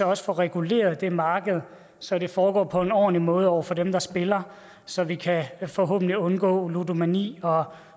også få reguleret det marked så det foregår på en ordentlig måde over for dem der spiller så vi forhåbentlig kan undgå ludomani og